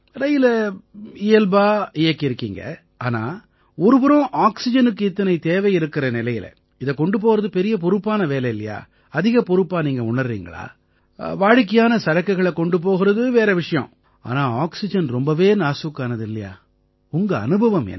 ரயிலை இயல்பா இயக்கியிருக்கீங்க ஆனா ஒரு புறம் ஆக்சிஜனுக்கு இத்தனை தேவை இருக்கற நிலையில இதைக் கொண்டு போகறது பெரிய பொறுப்பான வேலை இல்லையா அதிக பொறுப்பா நீங்க உணர்றீங்களா வாடிக்கையான சரக்குகளைக் கொண்டு போகறது வேற விஷயம் ஆனா ஆக்சிஜன் ரொம்பவே நாசூக்கானது இல்லையா உங்க அனுபவம் என்ன